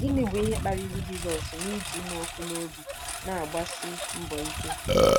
Gịnị bụ ihe kpaliri Jizọs iji ịnụ ọkụ n'obi na-agbasi mbọ ike?